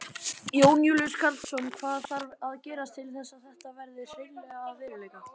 Jón Júlíus Karlsson: Hvað þarf að gerast til þess að þetta verði hreinlega að veruleika?